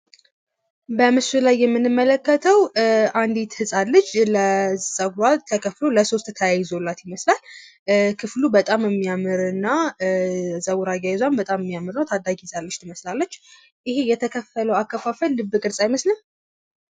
በምስሉ ላይ የምንመለከተው አንዲት ህጻን ልጅ ለ ጸጉሯ ተከፍሎ ለ 3 ተያይዞላት ይመስላል። ክፍሉ በጣም የሚያምር እና ጸጉር አያያዟም በጣም የሚያምር ታዳጊ ልጅ ትመስላለች ። ይሄ የተከፈለው አከፋፈል ልብ ቅርጽ አይመስልም?